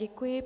Děkuji.